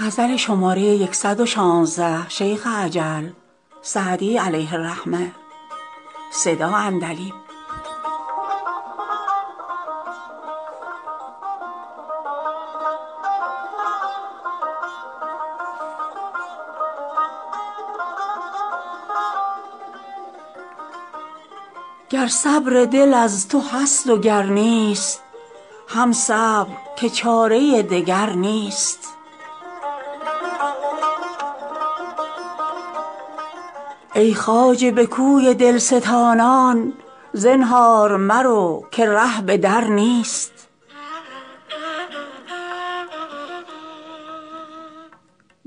گر صبر دل از تو هست و گر نیست هم صبر که چاره دگر نیست ای خواجه به کوی دل ستانان زنهار مرو که ره به در نیست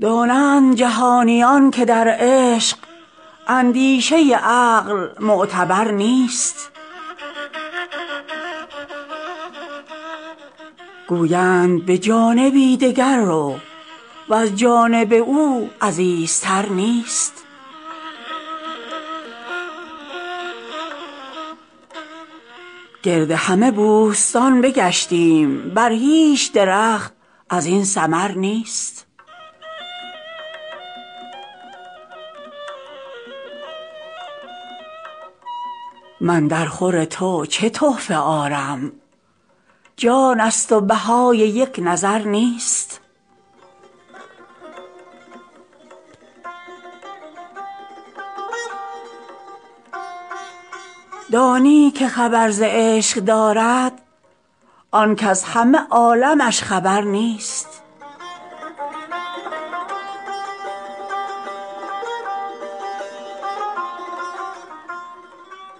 دانند جهانیان که در عشق اندیشه عقل معتبر نیست گویند به جانبی دگر رو وز جانب او عزیزتر نیست گرد همه بوستان بگشتیم بر هیچ درخت از این ثمر نیست من درخور تو چه تحفه آرم جان ست و بهای یک نظر نیست دانی که خبر ز عشق دارد آن کز همه عالمش خبر نیست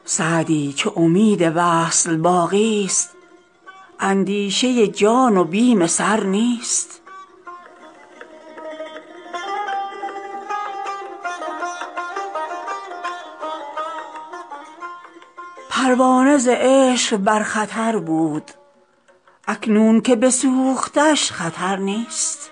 سعدی چو امید وصل باقی ست اندیشه جان و بیم سر نیست پروانه ز عشق بر خطر بود اکنون که بسوختش خطر نیست